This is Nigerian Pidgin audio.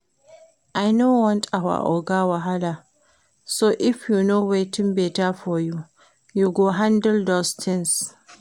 I no want our Oga wahala so if you know wetin beta for you, you go handle those things